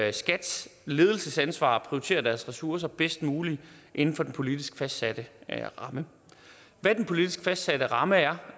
er skats ledelsesansvar at prioritere deres ressourcer bedst muligt inden for den politisk fastsatte ramme hvad den politisk fastsatte ramme er